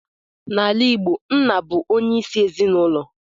N'ala Igbo, nna bụ onye isi ezinulo.